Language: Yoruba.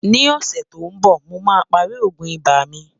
ní ọ̀sè tó ǹ bó, mò má pá rí ògún ibà mí